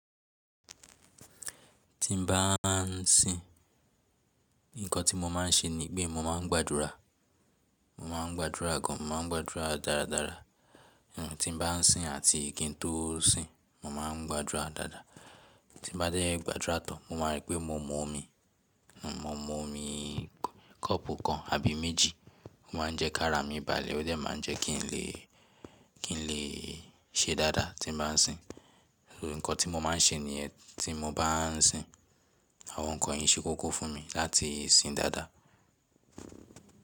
Tí n bá ń sìn, nǹkan tí mo máa ń ṣe ni pé mo máa ń gbàdúrà, mo máa ń gbàdúrà gan, mo máa ń gbàdúrà dáradára. Nǹkan tí n bá ń sìn àti kí n tó sìn, mo máa ń gbàdúrà dáadáa. Tí n bá dé gbàdúrà tán, mo máa rí pé mo mú omi, mo mú omi kọ́ọ̀pù kan àbí méjì. Mo máa ń jẹ kárà mi balẹ̀, ó dẹ́ máa ń jẹ́ kí n lè, kí n lè ṣe dáadáa tí n bá ń sìn. Nǹkan tí mo máa ń ṣe níyẹn tí mo bá ń sìn. Àwọn nǹkan yìí ṣe kókó fún mi láti sìn dáadáa.